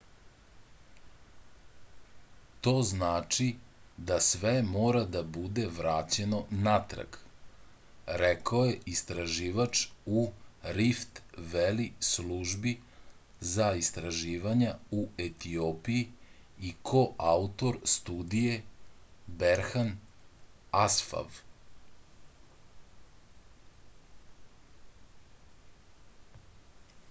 to znači da sve mora da bude vraćeno natrag rekao je istraživač u rift veli službi za istraživanja u etiopiji i koautor studije berhan asfav